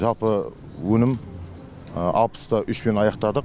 жалпы өнім алпыс та үшпен аяқтадық